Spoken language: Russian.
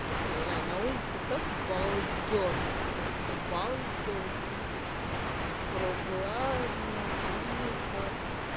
ля на улице так балдёжно просто балдёжно прохладно тихо